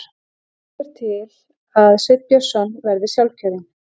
Líkur til að Sveinn Björnsson verði sjálfkjörinn